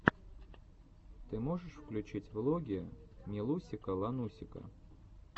ты можешь включить влоги милусика ланусика